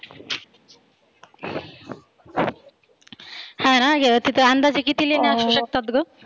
हा ना तीथे अंदाजे किती लेण्या असु शकतात ग?